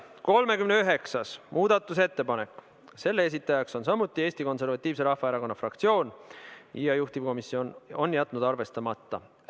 39. muudatusettepaneku esitaja on samuti Eesti Konservatiivse Rahvaerakonna fraktsioon ja juhtivkomisjon on jätnud selle arvestamata.